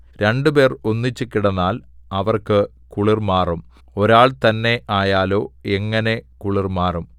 രണ്ടുപേർ ഒന്നിച്ച് കിടന്നാൽ അവർക്ക് കുളിർ മാറും ഒരാൾ തന്നേ ആയാലോ എങ്ങനെ കുളിർ മാറും